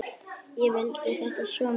Ég vildi þetta svo mikið.